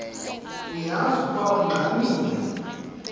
uyaz ukoba ungxamel